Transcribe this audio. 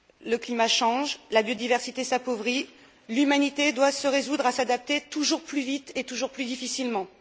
Le climat change, la biodiversité s'appauvrit, l'humanité doit se résoudre à s'adapter toujours plus vite et toujours plus difficilement.